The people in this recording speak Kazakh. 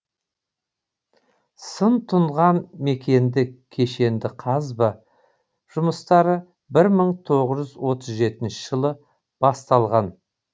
сыр тұнған мекенде кешенді қазба жұмыстары бір мың тоғыз жүз отыз жетінші жылы басталған